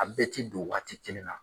A bɛɛ ti don wagati kelen na.